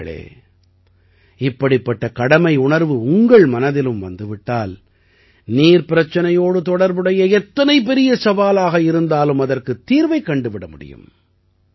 நண்பர்களே இப்படிப்பட்ட கடமையுணர்வு உங்கள் மனதிலும் வந்து விட்டால் நீர் பிரச்சனையோடு தொடர்புடைய எத்தனை பெரிய சவாலாக இருந்தாலும் அதற்குத் தீர்வைக் கண்டுவிட முடியும்